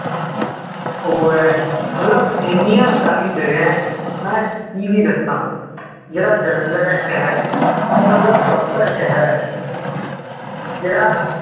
ਉਹ ਹੈ ਮਤਲਬ ਇਹਨਿਆਂ ਸਾਰੀਆਂ ਜਗ੍ਹਾ ਹੈ ਮੈਂ ਕੀ ਕੀ ਦਸਾਂ ਜਿਹੜਾ ਜਲੰਧਰ ਹੈ ਸ਼ਹਿਰ ਮਤਲਬ ਉਹ proper ਸ਼ਹਿਰ ਹੈ ਜਿਹੜਾ